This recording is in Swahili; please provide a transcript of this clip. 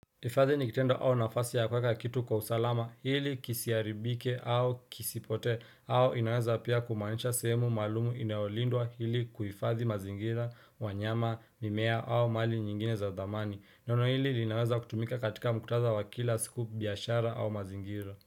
Hifadhi ni kitendo au nafasi ya kuweka kitu kwa usalama hili kisiharibike au kisipotee au inaweza pia kumaanisha sehemu maalumu inayolindwa hili kuhifadhi mazingira wanyama mimea au mali nyingine za dhamani neno hili linaweza kutumika katika mkutadha wa kila siku biashara au mazingira.